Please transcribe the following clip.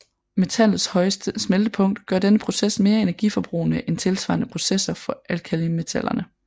Metallets høje smeltepunkt gør denne proces mere energiforbrugende end tilsvarende processer for alkalimetallerne